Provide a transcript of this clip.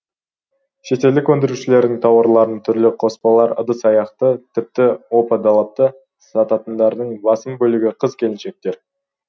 шетелдік өндірушілердің тауарларын түрлі қоспалар ыдыс аяқ тіпті опа далапты сататындардың басым бөлігі қыз келіншектер